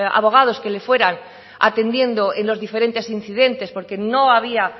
abogados que le fueran atendiendo en los diferentes incidentes porque no había